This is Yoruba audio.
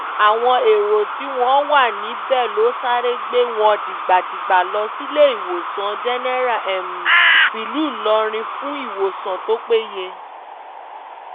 àwọn èrò tí wọ́n wà níbẹ̀ ló sáré gbé wọn dìgbàdìgbà lọ síléèwòsàn jẹ́nẹ́rà tìlú ìlọrin fún ìwòsàn tó péye